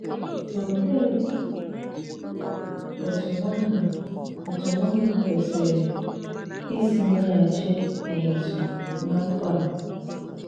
Olee òtù nwànnà òtù nwànnà kwesìrè ìsì mèghàchì òmùtù ná mmkpa à?